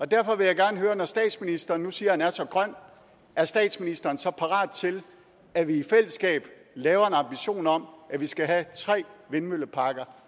derfor vil jeg gerne høre når statsministeren nu siger at han er så grøn er statsministeren så parat til at vi i fællesskab laver en ambition om at vi skal have tre vindmølleparker